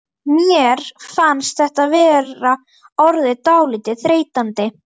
Mér fannst þetta vera orðið dálítið þreytandi.